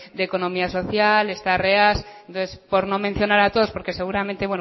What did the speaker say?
de economía social esta reas entonces por no mencionar a todos porque seguramente